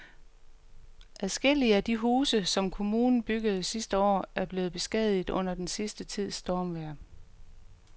Adskillige af de huse, som kommunen byggede sidste år, er blevet beskadiget under den sidste tids stormvejr.